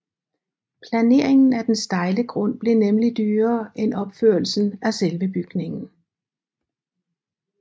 Planeringen af den stejle grund blev nemlig dyrere end opførelsen af selve bygningen